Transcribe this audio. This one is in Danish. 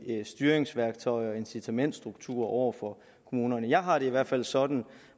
styringsværktøjer og incitamentsstrukturer over for kommunerne jeg har det i hvert fald sådan